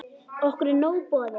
Okkur er nóg boðið